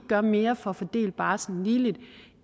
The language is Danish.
gør mere for at fordele barslen ligeligt